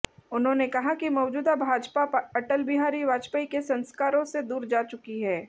उन्होंने कहा कि मौजूदा भाजपा अटल बिहारी वाजपेयी के संस्कारों से दूर जा चुकी है